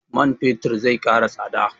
Man fetir zai ƙara tsada?